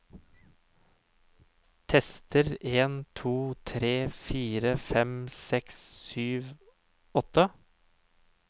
Tester en to tre fire fem seks sju åtte